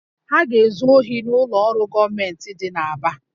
Ha ga-ezu ohi n'ụlọ ọrụ gọọmentị dị n'Aba